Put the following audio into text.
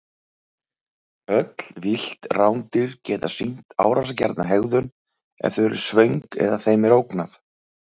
Öll villt rándýr geta sýnt árásargjarna hegðun ef þau eru svöng eða þeim er ógnað.